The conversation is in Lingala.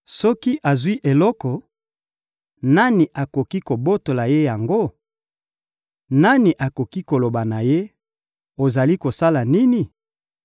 Soki azwi eloko, nani akoki kobotola Ye yango? Nani akoki koloba na Ye: ‹Ozali kosala nini?›